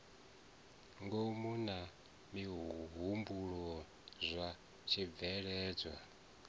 ngomu na mihumbulo zwa tshibveledzwa